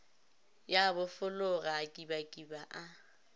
ya bofologa a kibakiba a